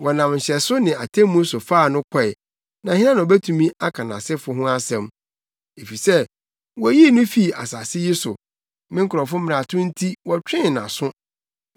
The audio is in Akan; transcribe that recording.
Wɔnam nhyɛso ne atemmu so faa no kɔe. Na hena na obetumi aka nʼasefo ho asɛm? Efisɛ woyii no fii asase yi so; me nkurɔfo mmarato nti wɔtwee nʼaso.